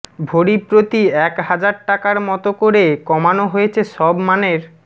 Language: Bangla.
ভরি প্রতি এক হাজার টাকার মতো করে কমানো হয়েছে সব মানের